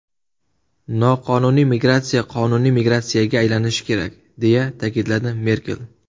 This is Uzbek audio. Noqonuniy migratsiya qonuniy migratsiyaga aylanishi kerak”, deya ta’kidlagan Merkel.